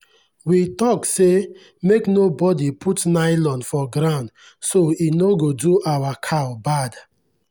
we talk say make no bodi put nylon for ground so e no go do our cow bad.